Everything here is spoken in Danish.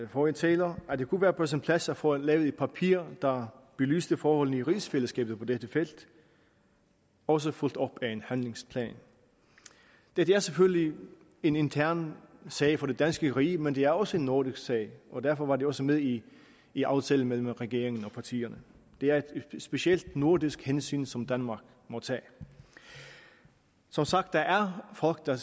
forrige taler at det kunne være på sin plads at få lavet et papir der belyser forholdene i rigsfællesskabet på dette felt også fulgt op af en handlingsplan dette er selvfølgelig en intern sag for det danske rige men det er også en nordisk sag og derfor var det også med i i aftalen mellem regeringen og partierne det er et specielt nordisk hensyn som danmark må tage som sagt der er folk der